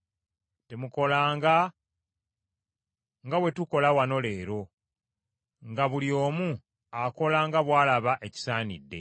Temukolanga nga bwe tukola wano leero, nga buli omu akola nga bw’alaba ekisaanidde,